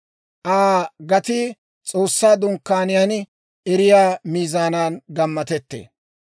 « ‹Aa gatii S'oossaa Dunkkaaniyaan erettiyaa miizaanan gammatettee.